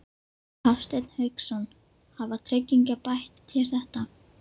Hafsteinn Hauksson: Hafa tryggingarnar bætt þér þetta?